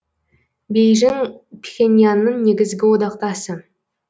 бейжің пхеньянның негізі одақтасы